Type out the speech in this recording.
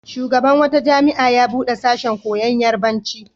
Shugaban wata jami'a ya buɗe sashen koyon Yarabanci.